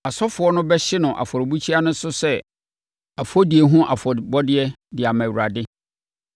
Asɔfoɔ no bɛhye no afɔrebukyia no so sɛ ɛfɔdie ho afɔdeɛ de ama Awurade.